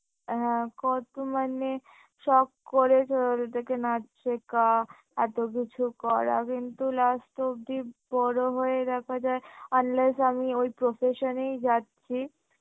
হ্যাঁ কত মানে শখ করে নাচ শেখা এত্তো কিছু করা কিন্তু last অবধি বড় হয়ে দেখা যায় unless আমি ওই profession এই যাচ্ছি